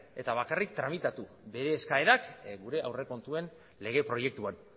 eta bakarrik tramitatu bere eskaerak gure aurrekontuen lege proiektuan